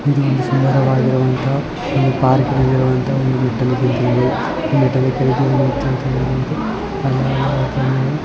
ಇದು ಒಂದು ಸುಂದರ ವಾಗಿ ಇರುವಂತ ಒಂದು ಪಾರ್ಕ್ ಏನ್ ಅಂತ ಹೇಳ್ತಿವಿ.